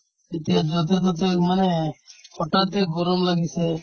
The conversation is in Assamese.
এতিয়া য'তে-ত'তে মানে হঠাতে গৰম লাগিছে